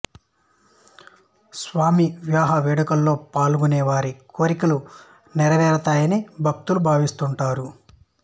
స్వామి వివాహ వేడుకలో పాల్గొనే వారి కోరికలు నెరవేరుతాయని భక్తులు భావిస్తుంటారు